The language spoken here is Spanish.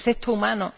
¿Es esto humano?